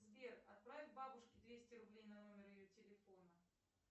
сбер отправь бабушке двести рублей на номер ее телефона